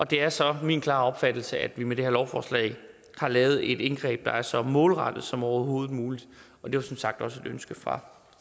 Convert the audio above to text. det er så min klare opfattelse at vi med det her lovforslag har lavet et indgreb der er så målrettet som overhovedet muligt det var som sagt også et ønske fra